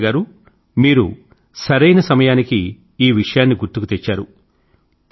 శ్వేత గారూ మీరెంతో సరైన సమయానికి ఈ విషయాన్ని గుర్తుకు తెచ్చారు